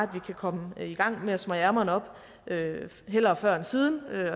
kan komme i gang med at smøge ærmerne op hellere før end siden